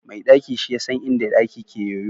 mai daki shi ya san inda ɗaki ke yoyo